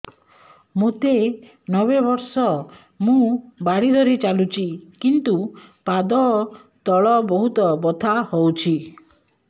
ମୋତେ ନବେ ବର୍ଷ ମୁ ବାଡ଼ି ଧରି ଚାଲୁଚି କିନ୍ତୁ ପାଦ ତଳ ବହୁତ ବଥା ହଉଛି